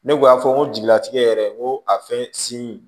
Ne kun y'a fɔ n ko jigilatigɛ yɛrɛ n ko a fɛn sin